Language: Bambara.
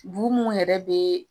Bu mun yɛrɛ be